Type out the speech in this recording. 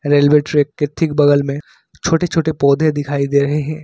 Railway track के ठीक बगल में छोटे छोटे पौधे दिखाई दे रहे हैं।